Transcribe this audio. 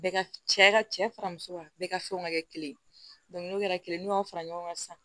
Bɛɛ cɛ ka cɛ fara muso kan bɛɛ ka fɛn ka kɛ kelen ye n'o kɛra kelen n'u y'a fara ɲɔgɔn kan sisan